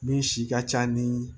Min si ka ca ni